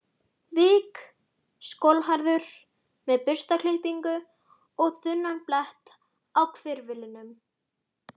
vik, skolhærður með burstaklippingu og þunnan blett á hvirflinum.